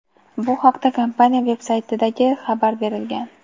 Bu haqda kompaniya veb-saytidagi xabar berilgan.